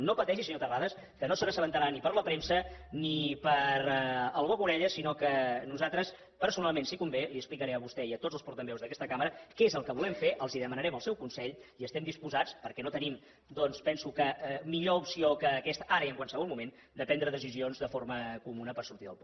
no pateixi senyor terrades que no se n’assabentarà ni per la premsa ni pel boca orella sinó que nosaltres personalment si convé els explicarem a vostè i a tots els portaveus d’aquesta cambra què és el que volem fer els demanarem el seu consell i estem disposats perquè no tenim doncs penso millor opció que aquesta ara i en qualsevol moment a prendre deci sions de forma comuna per sortir del pou